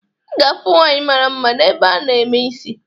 Ị ga-afụ nwaanyị mara mma n'ebe a na-eme isi